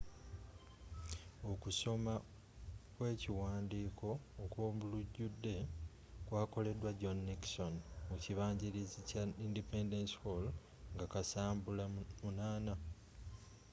okusoma kw'ekiwandiiko okw'omulujjudde kwakolebwa john nixon mu kibangirizi kya independence hall nga kasambula 8